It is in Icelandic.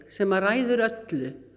sem ræður öllu